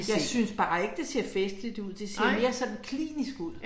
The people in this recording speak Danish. Jeg synes bare ikke det ser festligt ud, det ser mere sådan klinisk ud